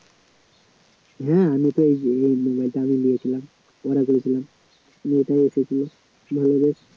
হম আমি তো এই যে এই mobile টা আমি নিয়েছিলাম order করেছিলাম এইটাই এসেছিল